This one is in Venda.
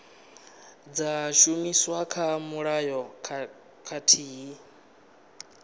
dza shumiswa kha mulayo khathihi